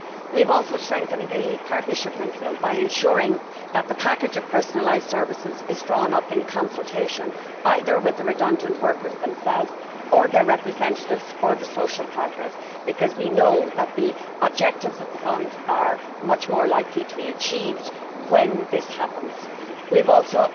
We have also strengthened the partnership principle by ensuring that the package of personalised services is drawn up in consultation either with the redundant workers themselves or their representatives or the social partners, because we know that the objectives of the fund are much more likely to be achieved when this happens. We have also